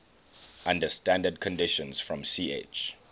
under standard conditions from ch